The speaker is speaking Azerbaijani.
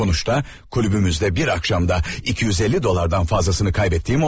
Nəticədə klubumuzda bir axşamda 250 dollardan çoxunu itirdiyim oldu.